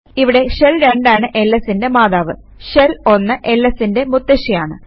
ഇവിടെ ഷെൽ 2 ആണ് lsന്റെ മാതാവ് ഷെൽ 1 lsന്റെ മുത്തശ്ശിയാണ്